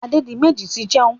Adédiméjì ti ń jẹun.